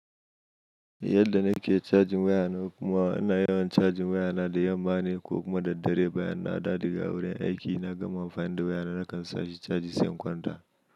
Yadda nake cajin wayana kuma ana yawan cajin wayana da yamma ne ko kuma da dare bayan na daɗa ga wurin aiki na gama amfani da wayana nakan sa shi caji sAn kwanta.